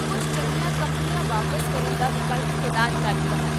ਕੁੱਝ ਚੰਗੀਆਂ ਕੰਪਨੀਆਂ ਵਾਪਸ ਕਰਨ ਦਾ ਵਿਕਲਪ ਪ੍ਰਦਾਨ ਕਰਦੀਆਂ ਹਨ